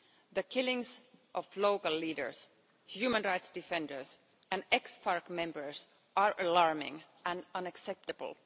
The killings of local leaders, human rights defenders and ex FARC members are alarming and unacceptable.